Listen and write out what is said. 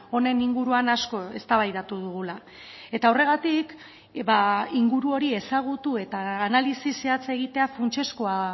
honen inguruan asko eztabaidatu dugula eta horregatik inguru hori ezagutu eta analisi zehatza egitea funtsezkoa